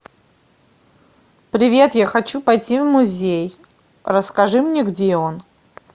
привет я хочу пойти в музей расскажи мне где он